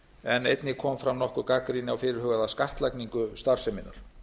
en einnig kom fram nokkur gagnrýni á fyrirhugaða skattlagningu starfseminnar